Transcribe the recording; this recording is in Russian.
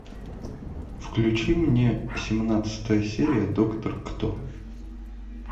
включи мне семнадцатая серия доктор кто